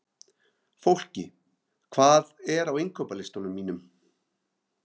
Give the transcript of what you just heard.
Fólki, hvað er á innkaupalistanum mínum?